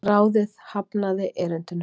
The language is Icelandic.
Ráðið hafnaði erindinu